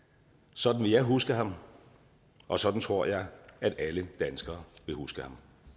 sådan vil jeg huske ham og sådan tror jeg at alle danskere vil huske